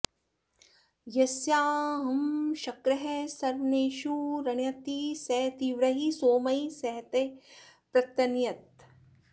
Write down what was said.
यस्याह॑ श॒क्रः सव॑नेषु॒ रण्य॑ति॒ स ती॒व्रैः सोमैः॑ सहते पृतन्य॒तः